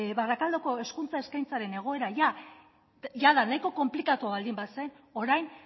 barakaldoko hezkuntza eskaintzaren egoera nahiko konplikatua baldin bazen orain